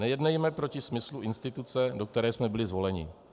Nejednejme proti smyslu instituce, do které jsme byli zvoleni.